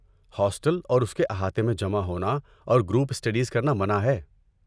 Hostel اور اس کے احاطے میں جمع ہونا اور گروپ اسٹڈیز کرنا منع ہے۔